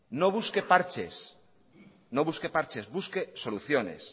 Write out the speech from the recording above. no busque parches no busque parches busque soluciones